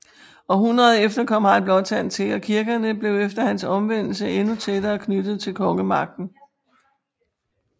Århundredet efter kom Harald Blåtand til og kirkerne blev efter hans omvendelse endnu tættere knyttet til kongemagten